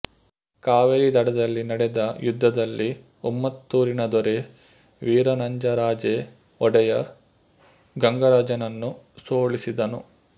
ಕಾವೇರಿ ದಡದಲ್ಲಿ ನಡೆದ ಯುದ್ಧದಲ್ಲಿ ಉಮ್ಮತ್ತೂರಿನ ದೊರೆ ವೀರನಂಜರಾಜೇ ವೊಡೆಯರ್ ಗಂಗರಾಜನನ್ನು ಸೋಲಿಸಿದನು